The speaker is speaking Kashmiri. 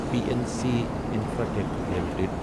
P N C Infratech limited